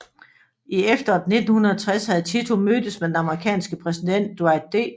I efteråret 1960 havde Tito mødtes med den amerikanske præsident Dwight D